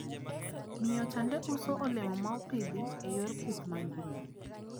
Miyo chande uso olemo maopidhi e yor pith mangima.